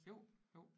Jo jo